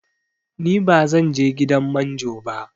Ni ba zanje gidan manjo ba